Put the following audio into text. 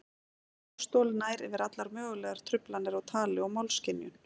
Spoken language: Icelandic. Málstol nær yfir allar mögulegar truflanir á tali og málskynjun.